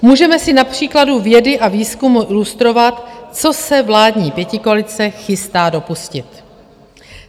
Můžeme si na příkladu vědy a výzkumu ilustrovat, co se vládní pětikoalice chystá dopustit.